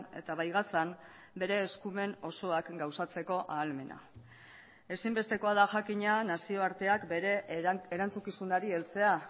eta bai gazan bere eskumen osoak gauzatzeko ahalmena ezinbestekoa da jakina nazioarteak bere erantzukizunari heltzea